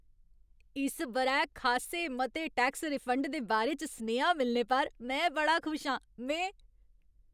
इस ब'रै खासे मते टैक्स रिफंड दे बारे च सनेहा मिलने पर में बड़ा खुश आं। में